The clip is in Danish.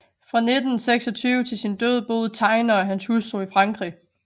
Fra 1926 til sin død boede Tegner og hans hustru i Frankrig